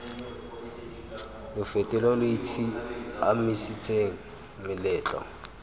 lo fete lo itshiamisetseng moletlo